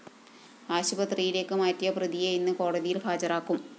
ആശുപത്രിയിലേക്ക് മാറ്റിയ പ്രതിയെ ഇന്ന് കോടതിയില്‍ ഹാജരാക്കും